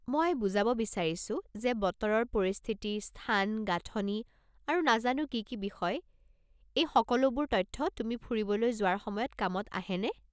মই বুজাব বিছাৰিছো যে, বতৰৰ পৰিস্থিতি, স্থান, গাঁথনি আৰু নাজানো কি কি বিষয়, এই সকলোবোৰ তথ্য তুমি ফুৰিবলৈ যোৱাৰ সময়ত কামত আহেনে?